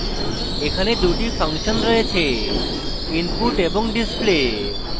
এখানে দুটি ফাংশন রয়েছে: input এবং display